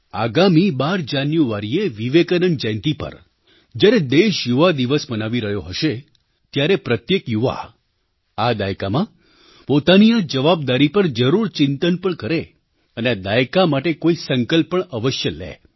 આગામી 12 જાન્યુઆરીએ વિવેકાનંદ જયંતી પર જ્યારે દેશ યુવાદિવસ મનાવી રહ્યો હશે ત્યારે પ્રત્યેક યુવા આ દાયકામાં પોતાની આ જવાબદારી પર જરૂર ચિંતન પણ કરે અને આ દાયકા માટે કોઈ સંકલ્પ પણ અવશ્ય લે